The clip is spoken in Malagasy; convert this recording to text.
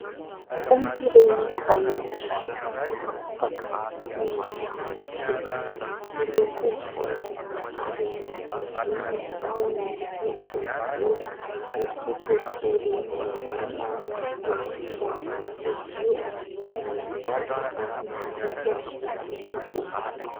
Sainam-pirenena vahiny iray mikopakopaka, miendrika mahitsizoro, miloko fotsy, ary misy vy ny tahony hiantonany eo. Misy boribory menamena eo afovoan'io fotsy io, ary misy tady mitazona azy eo amin'ilay vy.